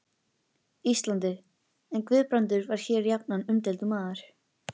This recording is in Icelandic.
Íslandi, en Guðbrandur var hér jafnan umdeildur maður.